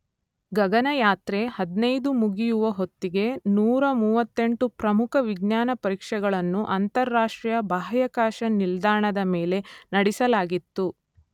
ಗಗನಯಾತ್ರೆ ಹದಿನೈದು ಮುಗಿಯುವ ಹೊತ್ತಿಗೆ ನೂರ ಮೂವತ್ತೆಂಟು ಪ್ರಮುಖ ವಿಜ್ಞಾನ ಪರೀಕ್ಷೆಗಳನ್ನು ಅಂತರರಾಷ್ಟ್ರೀಯ ಬಾಹ್ಯಾಕಾಶ ನಿಲ್ದಾಣದ ಮೇಲೆ ನಡೆಸಲಾಗಿತ್ತು.